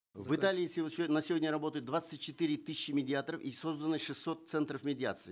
в италии на сегодня работает двадцать четыре тысячи медиаторов и созданы шестьсот центров медиации